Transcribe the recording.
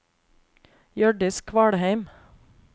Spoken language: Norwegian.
Hjørdis Kvalheim